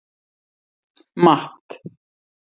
Matt